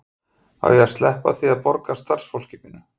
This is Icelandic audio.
Á ég að sleppa því að borga starfsfólkinu mínu?